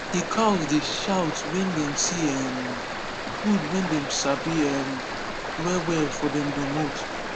the cows dey shout when dey see um food wey dey sabi um well well for dem domot